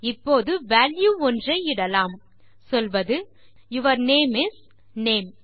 இப்போது வால்யூ ஒன்றை இடலாம் சொல்வது யூர் நேம் இஸ் நேம்